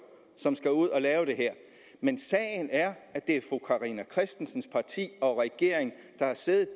som skal ud og lave det her men sagen er at det er fru carina christensens parti og regeringen der har siddet